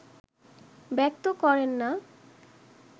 ব্যক্ত করেন না